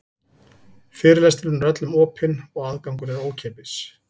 Fyrirlesturinn er öllum opinn og aðgangur er ókeypis.